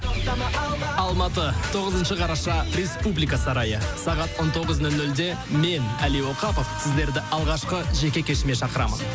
алматы тоғызыншы қараша республика сарайы сағат он тоғыз нөл нөлде мен әли оқапов сіздерді алғашқы жеке кешіме шақырамын